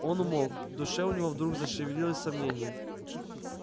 он умолк в душе у него вдруг зашевелилось сомнение